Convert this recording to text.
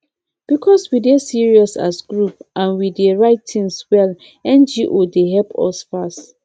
because we dey serious as group and we dey write things well ngo dey help us fast